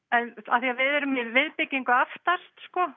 af því að við erum í viðbyggingu aftast